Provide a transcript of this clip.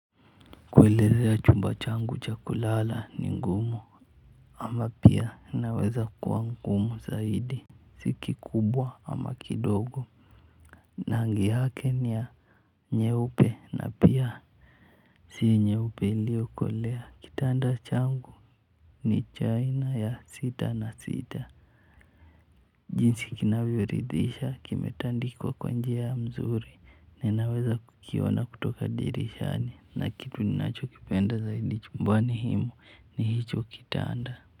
Kuelezea chumba changu cha kulala ni ngumu. Ama pia naweza kuwa ngumu zaidi ziki kubwa ama kidogo rangi yake ni ya nyeupe na pia si nyeupe iliyokolea. Kitanda changu ni cha aina ya sita na sita. Jinsi kinavyoridhisha kimetandikwa kwa njia mzuri. Ninaweza kukiona kutoka dirishani na kitu ninachokipenda zaidi chumbani humu ni hicho kitanda.